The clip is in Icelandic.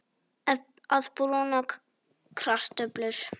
Að brúna kartöflur